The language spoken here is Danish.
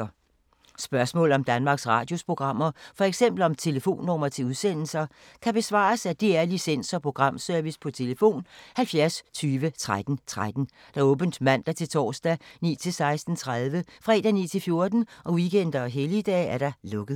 Spørgsmål om Danmarks Radios programmer, f.eks. om telefonnumre til udsendelser, kan besvares af DR Licens- og Programservice: tlf. 70 20 13 13, åbent mandag-torsdag 9.00-16.30, fredag 9.00-14.00, weekender og helligdage: lukket.